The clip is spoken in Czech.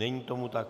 Není tomu tak.